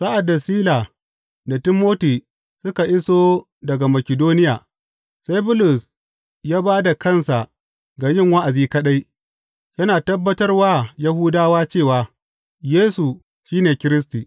Sa’ad da Sila da Timoti suka iso daga Makidoniya, sai Bulus ya ba da kansa ga yin wa’azi kaɗai, yana tabbatar wa Yahudawa cewa Yesu shi ne Kiristi.